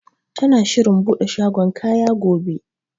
Tana shirin buɗe shagon kaya gobe.